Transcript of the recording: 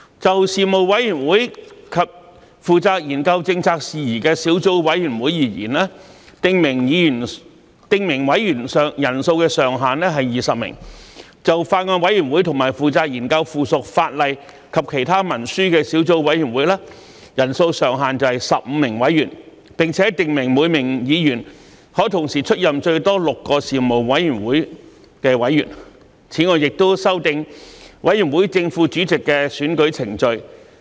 就事務委員會及負責研究政策事宜的小組委員會而言，訂明委員人數上限為20名；就法案委員會和負責研究附屬法例及其他文書的小組委員會，人數上限為15名委員，並訂明每名議員可同時出任最多6個事務委員會的委員；此外亦修訂委員會正副主席的選舉程序。